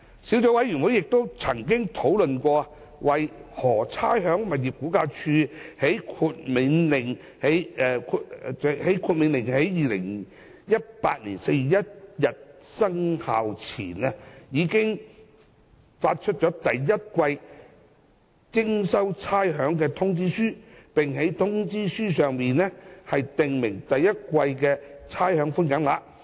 小組委員會亦曾討論，為何差餉物業估價署在《命令》於2018年4月1日生效前，已發出第一季的徵收差餉通知書，並在通知書上訂明第一季的差餉寬減額。